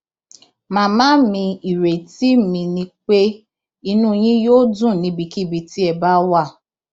màmá mi ìrètí mi ni pé inú yín yóò dùn níbikíbi tí ẹ bá wà